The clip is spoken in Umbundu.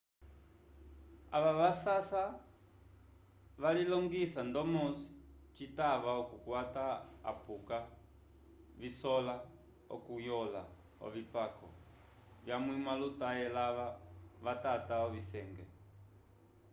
ava vasasa valilongisa ndomo citava okukwata apuka visola okunyõla ovipako vakwamĩwa lutate lava vatata ovisenge